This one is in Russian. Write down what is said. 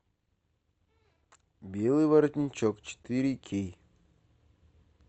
белый воротничок четыре кей